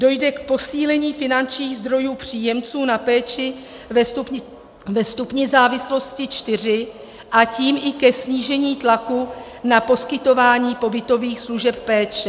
Dojde k posílení finančních zdrojů příjemců na péči ve stupni závislosti IV, a tím i ke snížení tlaku na poskytování pobytových služeb péče.